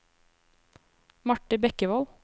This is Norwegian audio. Marthe Bekkevold